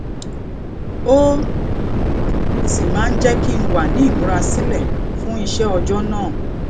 ó um sì máa ń jé kí n wà ní ìmúrasílè fún iṣé ọjó náà